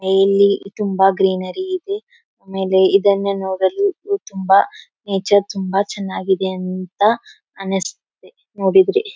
ಇಲ್ಲಿ ತುಂಬಾ ಗ್ರೀನರಿ ಇದೆ ಆಮೇಲೆ ಇದನ್ನ ನೋಡಲು ಈ ತುಂಬಾ ನೇಚರ್ ತುಂಬಾ ಚನ್ನಾಗಿದೆ ಅಂತ ಅನ್ನಸ್ತಿದೆ ನೋಡಿದ್ರೆ.